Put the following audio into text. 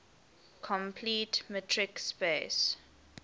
complete metric space